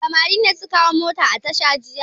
Samari ne suka hau mota a tasha jiya.